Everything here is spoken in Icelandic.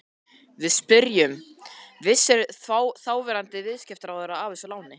Við spyrjum, vissi þáverandi viðskiptaráðherra af þessu láni?